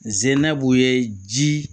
Zennab'u ye ji